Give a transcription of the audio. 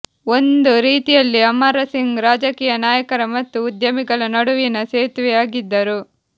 ಒಂದು ರೀತಿಯಲ್ಲಿ ಅಮರ ಸಿಂಗ್ ರಾಜಕೀಯ ನಾಯಕರ ಮತ್ತು ಉದ್ಯಮಿಗಳ ನಡುವಿನ ಸೇತುವೆ ಆಗಿದ್ದರು